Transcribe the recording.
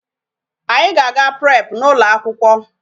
Anyị na-aga prep n'ụlọ akwụkwọ.